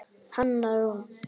Hanna Rún.